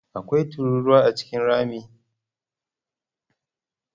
Akwai tururuwa A cikin rami?